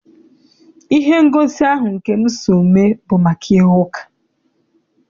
Ihe ngosi ahụ nke m so mee bụ maka ihe uka.